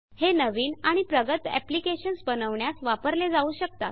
हे नवीन आणि प्रगत एप्लिकेशन्स बनवण्यास वापरल्या जाऊ शकते